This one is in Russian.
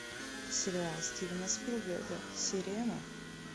сериал стивена спилберга сирена